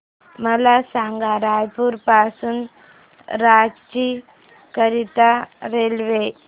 मला सांगा रायपुर पासून रांची करीता रेल्वे